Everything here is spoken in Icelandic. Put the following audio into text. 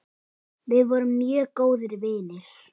Við vorum mjög góðir vinir.